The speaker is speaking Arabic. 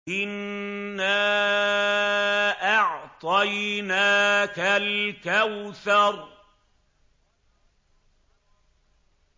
إِنَّا أَعْطَيْنَاكَ الْكَوْثَرَ